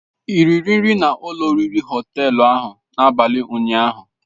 Ị riri nri na ụlọ oriri Họtelu n'abalị ụnyaahụ